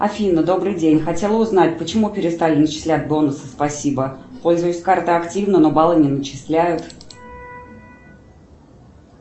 афина добрый день хотела узнать почему перестали начислять бонусы спасибо пользуюсь картой активно но баллы не начисляют